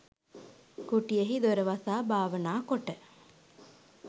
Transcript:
කුටියෙහි දොර වසා භාවනා කොට